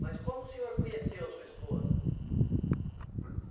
Mas como o senhor conheceu a sua esposa?